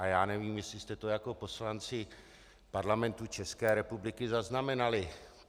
A já nevím, jestli jste to jako poslanci Parlamentu České republiky zaznamenali.